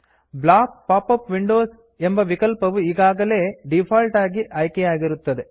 block pop up windows ಎಂಬ ವಿಕಲ್ಪವು ಈಗಾಗಲೇ ಡೀಫಾಲ್ಟ್ ಆಗಿ ಆಯ್ಕೆಯಾಗಿರುತ್ತದೆ